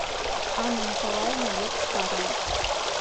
анна николаевна еппарова